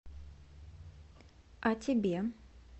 о тебе